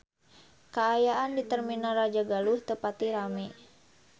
Kaayaan di Terminal Rajagaluh teu pati rame